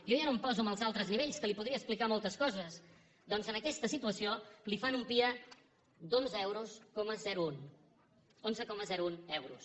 jo ja no em poso amb els altres nivells que li podria explicar moltes coses doncs en aquesta situació li fan un pia d’onze coma un euros onze coma un euros